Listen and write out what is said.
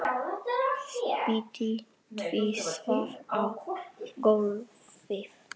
Spýti tvisvar á gólfið.